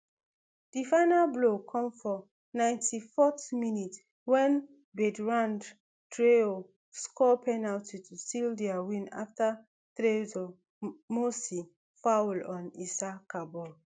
di final blow come for ninety-fourth minute wen bertrand traor score penalty to seal dia win afta trsor mossi foul on issa kabor